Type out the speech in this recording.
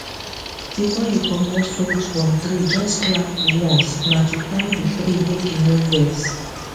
before you commot fruit from treejust clap once na to thank the tree make e no vex